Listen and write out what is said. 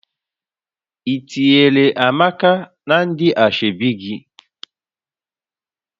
Ị tinyere Amaka na ndị ashebi gị?